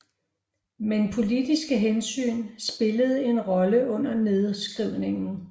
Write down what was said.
Men politiske hensyn spillede en rolle under nedskrivningen